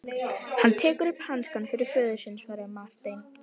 Hann tekur upp hanskann fyrir föður sinn, svaraði Marteinn.